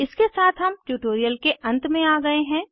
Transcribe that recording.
इसके साथ हम ट्यूटोरियल के अंत में आ गए हैं